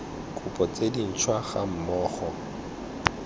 kopo tse dintšhwa ga mmogo